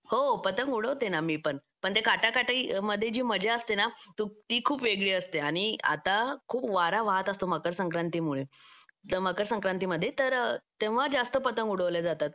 हो पतंग उडवते ना मी पण पण ती काटाकाटी मध्ये जी मजा असते ना ती खूप वेगळी असते आणि आता खूप वारा वाहत असतो मकरसंक्रांतीमुळे तर मकर संक्रांतीमध्ये तर तेव्हा जास्त पतंग उडवले जातात